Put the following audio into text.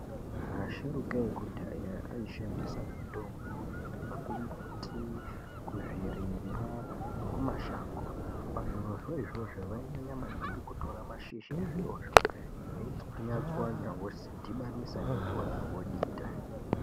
Asharuka ekudhaya aishandisa mitombo yaibva kumbuti kuzvirimwa nekuma shango pazviro zvo izvozvo vainyanya maningi kutora mashizha ezvirozvo vochwanya vodhibanisa nemvura vodita.